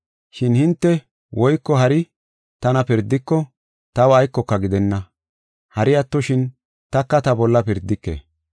Shin hinte woyko hari tana pirdiko, taw aykoka gidenna. Hari attoshin, taka ta bolla pirdike.